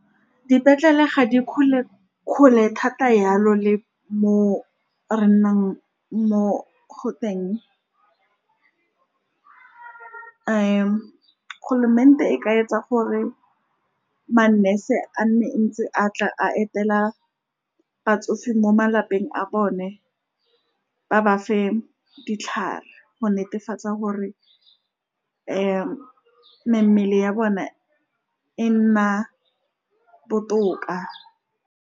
Dipetlele ga di kgole-kgole thata, yalo le mo re nnang mo go teng , government-e e ka etsa gore ma-nurse a nne ntse a tla a etela batsofe mo malapeng a bone, ba bafe ditlhare go netefatsa gore mmele ya bone e nna botoka.